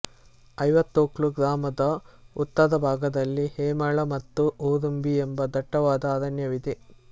ಐವತ್ತೊಕ್ಲು ಗ್ರಾಮದ ಉತ್ತರ ಭಾಗದಲ್ಲಿ ಹೇಮಳ ಮತ್ತು ಉರುಂಬಿ ಎಂಬ ದಟ್ಟವಾದ ಅರಣ್ಯವಿದೆ